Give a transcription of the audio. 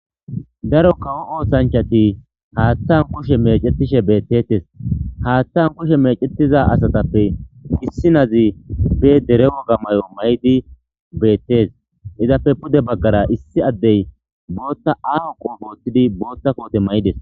Daro kawo oosanchati haattan kushe mecetishe beettetes haattan kushe mecetiza asatappe issinazi be dere waga mayo may'idi beettees izappe pude baggara issi addey bootta aaho qoo boottidi bootta koote may'ides.